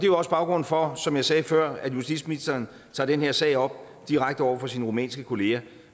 jo også baggrunden for som jeg sagde før at justitsministeren tager den her sag op direkte over for sin rumænske kollega